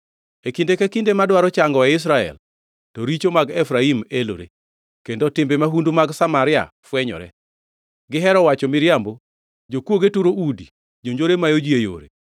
e kinde ka kinde madwaro changoe Israel, to richo mag Efraim elore kendo timbe mahundu mag Samaria fwenyore. Gihero wacho miriambo, jokwoge turo udi, jonjore mayo ji e yore;